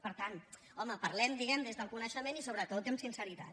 per tant home parlem diguem ne des del coneixement i sobretot amb sinceritat